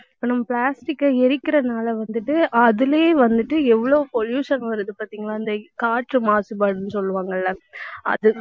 இப்ப நம்ம plastic க்க எரிக்கிறதுனால வந்துட்டு, அதிலயே வந்துட்டு எவ்வளவு pollution வருது பார்த்தீங்களா இந்தக் காற்று மாசுபாடுன்னு சொல்லுவாங்க இல்லை அது